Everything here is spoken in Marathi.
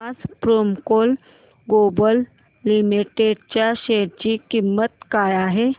आज प्रेमको ग्लोबल लिमिटेड च्या शेअर ची किंमत काय आहे